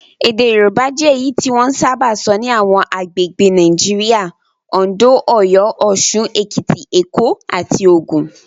Èdè Yorùbá jẹ́ èyí tí wọ́n sábà sọ ní àwọn agbègbè Nigeria; Oǹdó, Ọ̀yọ́, Òṣun, Èkìtì, Èkó, àti Ògùn.